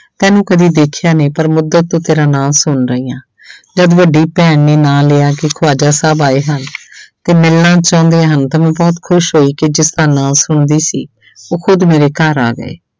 ਤੈਨੂੰ ਕਦੇੇ ਦੇਖਿਆ ਨਹੀਂ ਪਰ ਮੁਦਤ ਤੋਂ ਤੇਰਾ ਨਾਂ ਸੁਣ ਰਹੀ ਹਾਂ ਜਦ ਵੱਡੀ ਭੈਣ ਨੇ ਨਾਂ ਲਿਆ ਕਿ ਖਵਾਜ਼ਾ ਸਾਹਿਬ ਆਏ ਹਨ ਤੇ ਮਿਲਣਾ ਚਾਹੁੰਦੇ ਹਨ ਤੇ ਮੈਂ ਬਹੁਤ ਖ਼ੁਸ਼ ਹੋਈ ਕਿ ਜਿਸਦਾ ਨਾਂ ਸੁਣਦੀ ਸੀ ਉਹ ਖੁੱਦ ਮੇਰੇ ਘਰ ਆ ਗਏ।